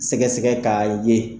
Sɛgɛsɛgɛ k'a ye.